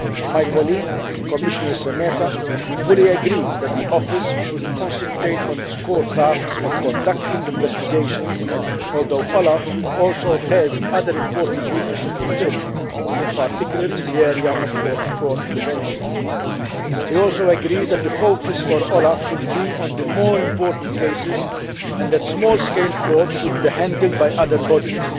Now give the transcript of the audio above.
My colleague Commissioner Šemeta fully agrees that the office should concentrate on its core tasks of conducting investigations, although OLAF also has other important duties to fulfil, in particular in the area of fraud prevention. He also agrees that the focus for OLAF should be on the more important cases and that small scale fraud should be handled by other bodies.